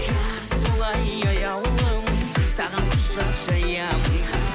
иә солай аяулым саған құшақ жаямын